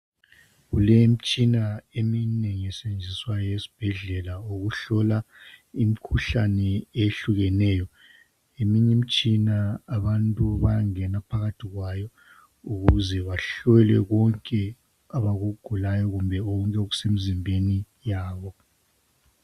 Kulemitshina eminengi esetshenziswayo esibhedlela ukuhlola imikhuhlane ehlukeneyo. Eminye imitshina abantu bayangena phakathi kwayo ukuze bahlolwe konke abakugulayo kumbe okusemzimbeni yabo.